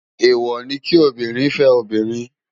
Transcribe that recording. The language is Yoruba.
Éwò ni ki óbìrín fè óbìrín